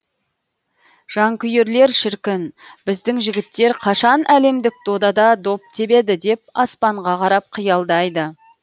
жанкүйерлер шіркін біздің жігіттер қашан әлемдік додада доп тебеді деп аспанға қарап қиялдайды